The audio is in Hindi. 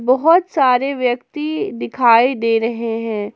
बहोत सारे व्यक्ति दिखाई दे रहे है।